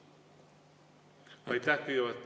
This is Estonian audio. Aitäh!